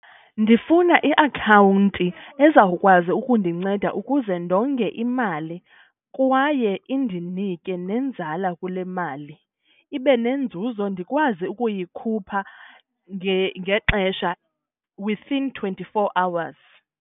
Ndifuna iakhawunti ezawukwazi ukundinceda ukuze ndonge imali kwaye indinike nenzala kule mali, ibe nenzuzo ndikwazi ukuyikhupha ngexesha within twenty-four hours.